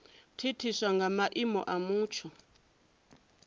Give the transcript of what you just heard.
thithiswa nga maimo a mutsho